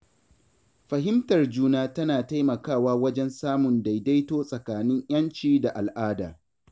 Fahimtar juna tana taimakawa wajen samun daidaito tsakanin ‘yanci da al’ada.